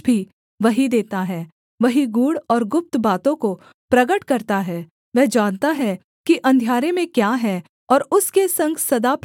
वही गूढ़ और गुप्त बातों को प्रगट करता है वह जानता है कि अंधियारे में क्या है और उसके संग सदा प्रकाश बना रहता है